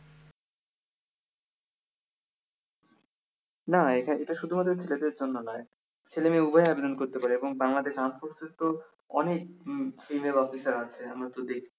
না এটা শুধুমাত্র ছেলেদের জন্য না ছেলেমেয়ে উভয়ই আবেদন করতে পারে এবং বাংলাদেশ অনেক উম female আছে আমরা তো দেখি